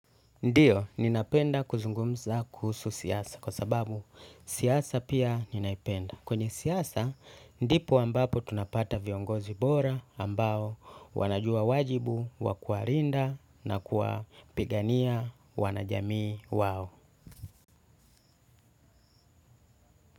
Ndio, ninapenda kuzungumza kuhusu siasa kwa sababu siasa pia ninaipenda kwenye siasa, ndipo ambapo tunapata viongozi bora ambao wanajua wajibu wa kuwalinda na kuwapigania wanajamii wao.